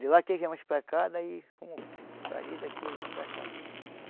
De lá que viemos para cá, daí rumo para ali, daqui viemos para cá.